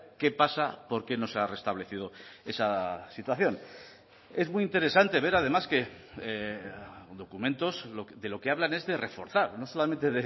qué pasa por qué no se ha restablecido esa situación es muy interesante ver además que documentos de lo que hablan es de reforzar no solamente